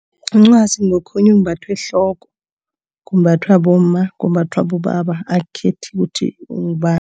Umncwazi ngokhunye okumbathwa ehloko, kumbathwa bomma, kumbathwa bobaba, akukhethi ukuthi